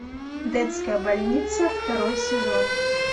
детская больница второй сезон